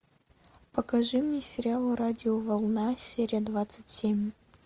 покажи мне сериал радиоволна серия двадцать семь